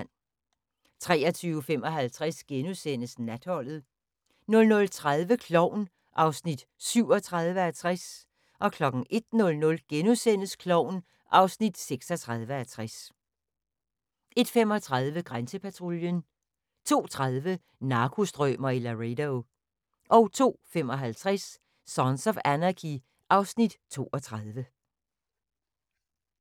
23:55: Natholdet * 00:30: Klovn (37:60) 01:00: Klovn (36:60)* 01:35: Grænsepatruljen 02:30: Narkostrømer i Laredo 02:55: Sons of Anarchy (Afs. 32)